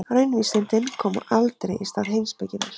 Raunvísindin koma aldrei í stað heimspekinnar.